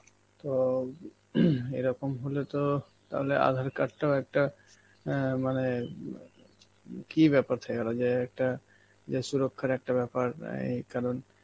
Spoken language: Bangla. তো এরকম হলে তো তাহলে আধার card টাও একটা এ মানে কি ব্যাপার থেকে গেল যে একটা~ যে সুরক্ষার একটা ব্যাপার রেই কারণ